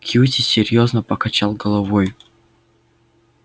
кьюти серьёзно покачал головой